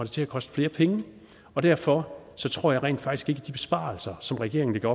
til at koste flere penge og derfor tror jeg rent faktisk ikke at de besparelser som regeringen